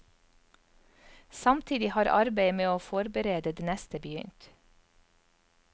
Samtidig har arbeidet med å forberede det neste begynt.